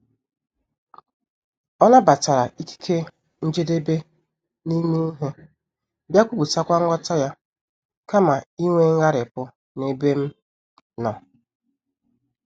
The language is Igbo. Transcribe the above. Ọ nabatara ikike njedebe n'ime ihe, bịa kwuputakwa nghọta ya, kama inwe ngharipu n'ebe m nọ.